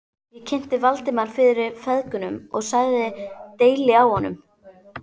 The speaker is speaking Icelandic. Ég kynnti Valdimar fyrir feðgunum og sagði deili á honum.